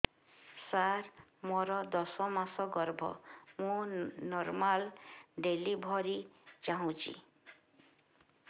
ସାର ମୋର ଦଶ ମାସ ଗର୍ଭ ମୁ ନର୍ମାଲ ଡେଲିଭରୀ ଚାହୁଁଛି